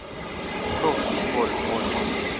pro football hall